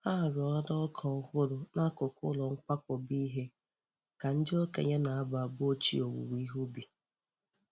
Ha roara ọka ọhụrụ n'akụkụ ụlọ nkwakọba ihe ka ndị okenye na-abụ abụ ochie owuwe ihe ubi.